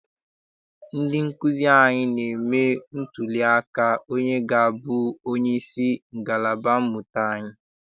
Ndị nkụzi anyị na-eme ntụli aka onye ga-abụ onyeisi ngalaba mmụta anyi.